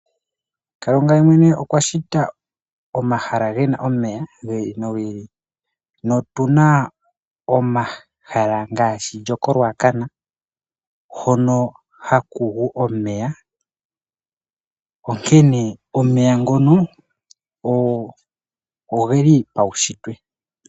Kalunga ye mwene okwa shita omahala gena omeya, gi ili no gi ili. Otuna omahala ngaashi lyoko Ruacana hono ha ku gu omeya, onkene omeya ngono oge limo paushitwe.